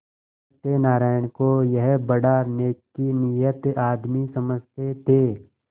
सत्यनाराण को यह बड़ा नेकनीयत आदमी समझते थे